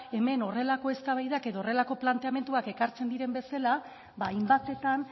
hemen horrelako eztabaidak edo horrelako planteamenduak ekartzen diren bezala hainbatetan